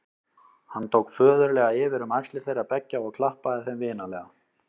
Hann tók föðurlega yfir um axlir þeirra beggja og klappaði þeim vinalega.